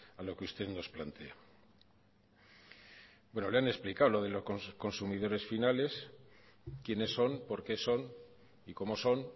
a lo que usted nos plantea le han explicado lo de los consumidores finales quiénes son por qué son y cómo son